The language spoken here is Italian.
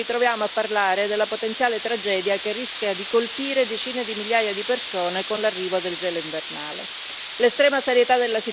Tuttavia, ancora una volta ci ritroviamo a parlare della potenziale tragedia che rischia di colpire decine di migliaia di persone con l'arrivo del gelo invernale.